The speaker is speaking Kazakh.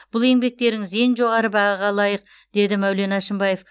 бұл еңбектеріңіз ең жоғары бағаға лайық деді мәулен әшімбаев